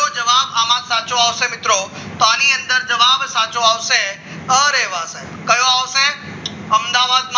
સાચો આવશે મિત્રો તો આની અંદર જવાબ સાચો આવશે કયો આવશે અમદાવાદ